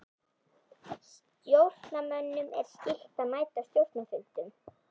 Stjórnarmönnum er skylt að mæta á stjórnarfundum.